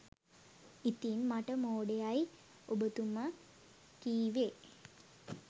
ඉතින් මට මෝඩයයයි ඔබතුම කිවේ